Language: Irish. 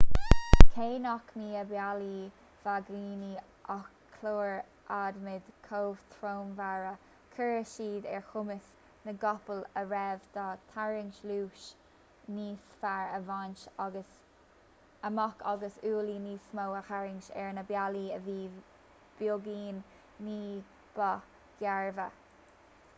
cé nach mbíodh i mbealaí vaigíní ach cláir adhmaid chomhthreomhara chuireadh siad ar chumas na gcapall a raibh dá dtarraingt luas níos fearr a bhaint amach agus ualaí níos mó a tharraingt ar na bealaí a bhí beagáinín ní ba ghairbhe